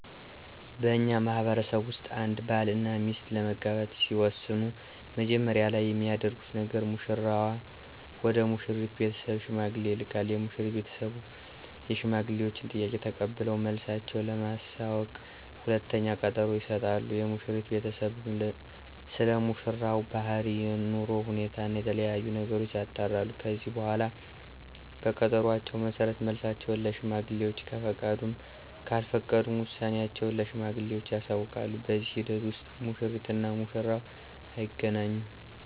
በእኛ ማህበረሰብ ውስጥ አንድ ባል እና ሚስት ለመጋባት ሲወስኑ መጀመሪያ ላይ የሚያደርጉት ነገር ሙሽራው ወደ ሙሽሪት ቤተሰብ ሽማግሌ ይልካል። የሙሽሪት ቤተሰብ የሽማግሌወችን ጥያቄ ተቀብለው መልሳቸው ለማሳወቅ ሁለተኛ ቀጠሮ ይሰጣሉ። የሙሽሪት ቤተሰብም ስለሙሽራው ባህሪ፣ የኑሮ ሁኔታ እና የተለያዬ ነገሮችን ያጣራሉ። ከዚህ በኃላ በቀጠሮአቸው መሠረት መልሳቸውን ለሽማግሌወች ከፈቀዱም ካልፈቀዱም ውሳኔአቸውን ለሽማግሌወቹ ያሳውቃሉ። በዚህ ሂደት ውስጥ ሙሽሪት እና ሙሽራው አይገናኙም።